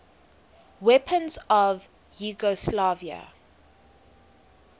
weapons of yugoslavia